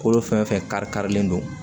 Kolo fɛn fɛn kari karilen don